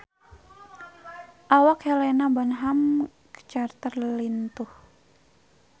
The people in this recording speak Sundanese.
Awak Helena Bonham Carter lintuh